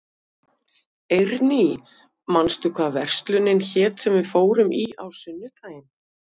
Eirný, manstu hvað verslunin hét sem við fórum í á sunnudaginn?